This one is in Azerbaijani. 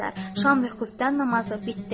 Şam vüqufdan namazı bitdi.